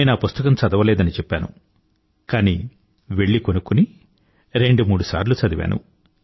నేనా పుస్తకం చదవలేదని చెప్పాను కానీ వెళ్లి కొనుక్కుని రెండు మూడుసార్లు చదివాను